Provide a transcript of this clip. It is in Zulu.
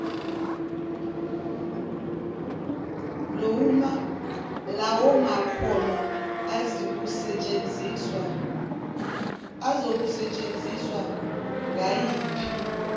lawomakhono azokusetshenziswa ngayiphi